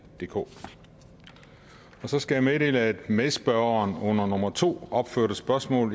DK jeg skal meddele at medspørgeren under nummer to opførte spørgsmål